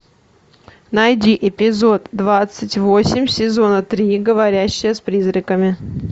найди эпизод двадцать восемь сезона три говорящая с призраками